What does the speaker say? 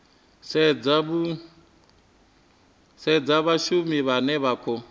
sedzwa vhashumi vhane vha khou